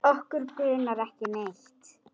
Okkur grunar ekki neitt.